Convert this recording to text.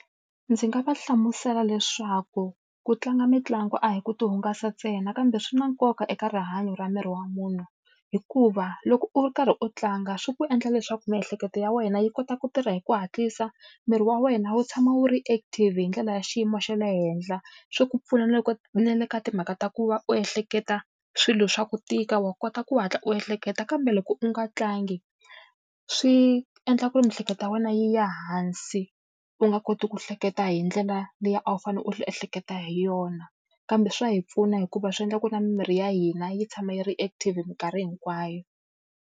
Ndzi nga va hlamusela leswaku ku tlanga mitlangu a hi ku ti hungasa ntsena kambe swi na nkoka eka rihanyo ra miri wa munhu. Hikuva loko u ri karhi u tlanga swi ku endla leswaku miehleketo ya wena yi kota ku tirha hi ku hatlisa, miri wa wena wu tshama wu ri active hi ndlela ya xiyimo xa le henhla. Swi ku pfuna na loko na le ka timhaka ta ku va u ehleketa swilo swa ku tika, wa kota ku hatla u ehleketa. Kambe loko u nga tlangi, swi endla ku ri miehleketo ya wena yi ya hansi u nga koti ku hleketa hi ndlela leyi a wu fanele u ehleketa hi yona. Kambe swa hi pfuna hikuva swi endla ku na mimiri ya hina yi tshama yi ri active minkarhi hinkwayo.